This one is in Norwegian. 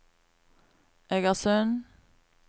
Egersund